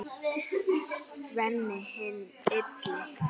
Sveinn hinn illi.